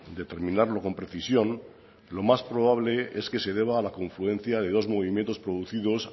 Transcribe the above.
determinarlo con precisión lo más probable es que se deba a la confluencia de los movimientos producidos